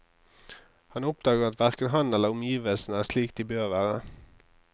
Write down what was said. Han oppdager at hverken han eller omgivelsene er slik de bør være.